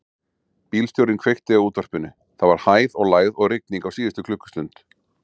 Bílstjórinn kveikti á útvarpinu: það var hæð og lægð og rigning á síðustu klukkustund.